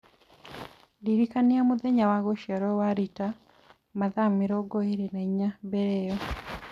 ndĩrikania mũthenya wa gũciarũo wa Rita mathaa mĩrongo ĩĩrĩ na inya mbere ĩyo